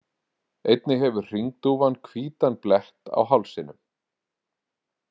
Einnig hefur hringdúfan hvítan blett á hálsinum.